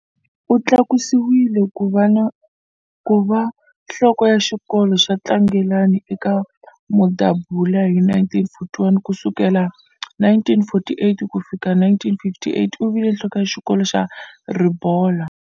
U tlakusiwile ku va nhloko ya xikolo xa Tlangelani eka Mudabula hi 1941. Ku sukela 1945 ku fikela 1958 u vile nhloko ya xikolo xa Ribolla.